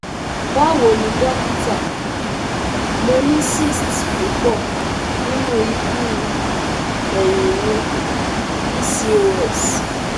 Bawoni dokita, mo ni cysts pupo ninu ibu eyin mi PCOS